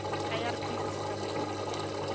irp se se tswang go